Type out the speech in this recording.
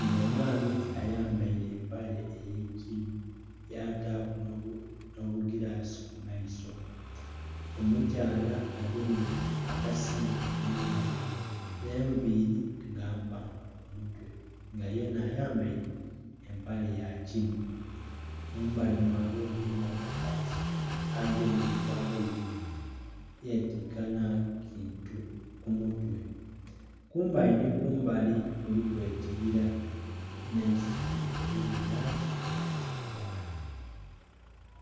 nga omwami ayambere empale eyekinhu yataku nho bugilasi kumaiso, omukyala agemye akasimu mungalo nh'enviiri nga mpanvu kumutwe nga yenha ayambere empale yagini. Mumbali mwaabwe mulimu omukazi agemye embago ibiri yetika nh'ekintu kumutwe. Kumbali nhi kumbali kuliku ekibila nh'eisubi ebiri mulangi eya kilagala.